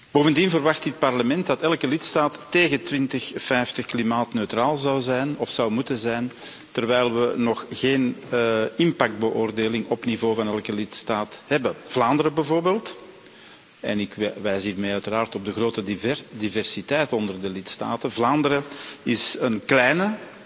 Bovendien verwacht dit Parlement dat elke lidstaat tegen 2050 klimaatneutraal zou zijn of zou moeten zijn terwijl we nog geen impactbeoordeling op niveau van elke lidstaat hebben. Vlaanderen bijvoorbeeld en ik wijs hiermee uiteraard op de grote diversiteit onder de lidstaten is een kleine